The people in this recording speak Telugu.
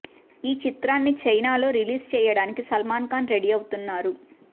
ఈ చిత్రాన్ని చైనాలో రీలీజ్ చేయడానికి సల్మాన్ ఖాన్ రెడీ అవుతున్నారు